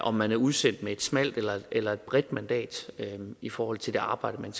om man er udsendt med et smalt eller et bredt mandat i forhold til det arbejde man